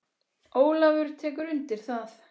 Ólafur tekur undir það.